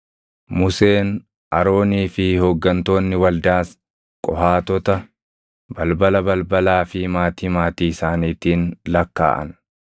Museen, Aroonii fi hooggantoonni waldaas Qohaatota balbala balbalaa fi maatii maatii isaaniitiin lakkaaʼan.